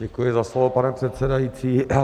Děkuji za slovo, pane předsedající.